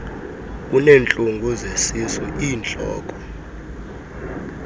uneentlungu zesisu iintloko